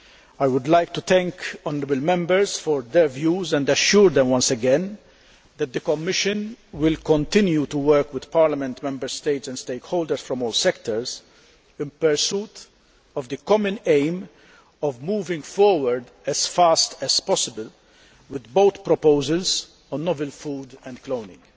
I would like to thank honourable Members for their views and assure them once again that the Commission will continue to work with Parliament, Member States and stakeholders from all sectors in pursuit of the common aim of moving forward as fast as possible with both proposals on novel food and cloning.